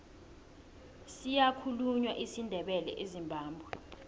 siyakhulunywa isindebele ezimbabwe